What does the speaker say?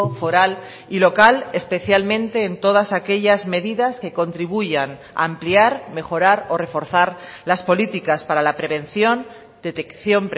foral y local especialmente en todas aquellas medidas que contribuyan a ampliar mejorar o reforzar las políticas para la prevención detección